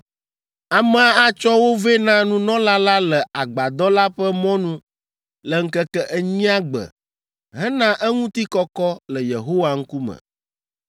Amea atsɔ wo vɛ na nunɔla la le Agbadɔ la ƒe mɔnu le ŋkeke enyia gbe hena eŋutikɔkɔ le Yehowa ŋkume.